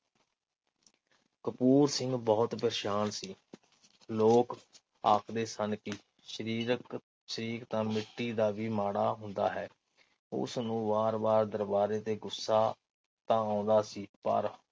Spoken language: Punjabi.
ਕਪੂਰ ਸਿੰਘ ਬਹੁਤ ਪ੍ਰੇਸ਼ਾਨ ਸੀ। ਲੋਕ ਆਖਦੇ ਸਨ ਕੇ ਸ਼ਰੀਰਕ ਸ਼ਰੀਕ ਤਾ ਮਿੱਟੀ ਦਾ ਵੀ ਮਾੜਾ ਹੁੰਦਾ ਹੈ। ਉਸਨੂੰ ਵਾਰ ਵਾਰ ਦਰਬਾਰੇ ਤੇ ਗੁੱਸਾ ਤਾ ਆਉਂਦਾ ਸੀ ਪਰ